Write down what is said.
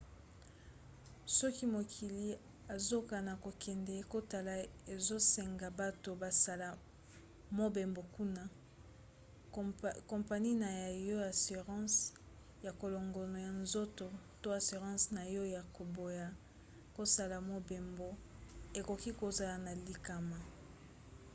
soki mokili ozakana kokende kotala ezosenga bato basala mobembo kuna kompani na yo ya assurance ya kolongono ya nzoto to assurance na yo ya koboya kosala mobembo ekoki kozala na likama